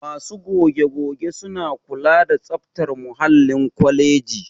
Masu goge-goge suna kula da tsaftar muhallin kwaleji